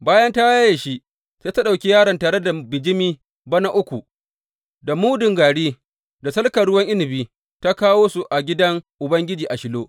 Bayan ta yaye shi, sai ta ɗauki yaron tare da bijimi bana uku, da mudun gari, da salkan ruwan inabi, ta kawo su a gidan Ubangiji a Shilo.